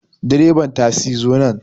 Direban tasi zo nan